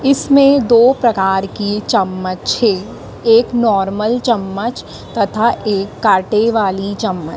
इसमें दो प्रकार की चम्मच है एक नॉर्मल चम्मच तथा एक कांटे वाली चम्मच।